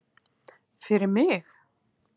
Fyrir mig?